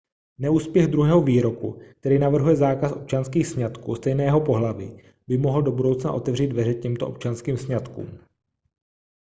neúspěch druhého výroku který navrhuje zákaz občanských sňatků stejného pohlaví by mohl do budoucna otevřít dveře těmto občanským sňatkům